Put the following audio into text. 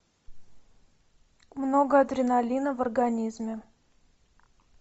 много адреналина в организме